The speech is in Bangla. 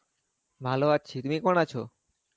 ভালো আছি, তুমি কেমন আছো?